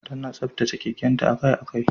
Tana tsaftace keken ta akai-akai.